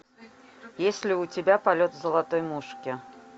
есть ли у тебя полет золотой мушки